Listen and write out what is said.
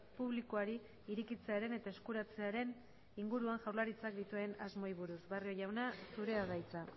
publikoari irekitzearen eta eskuratzearen inguruan jaurlaritzak dituen asmoei buruz barrio jauna zurea da hitza